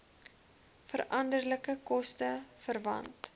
veranderlike koste verwant